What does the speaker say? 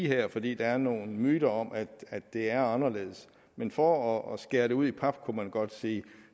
her fordi der er nogle myter om at det er anderledes men for at skære det ud i pap kunne man godt sige